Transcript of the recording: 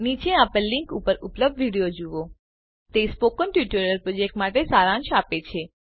નીચે આપેલ લીંક ઉપર ઉપલબ્ધ વિડિઓ જુઓ તે સ્પોકન ટ્યુટોરીયલ પ્રોજેક્ટ માટે સારાંશ છે